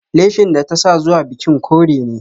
Leshin da ta sa zuwa bikin kore ne